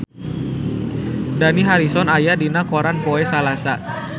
Dani Harrison aya dina koran poe Salasa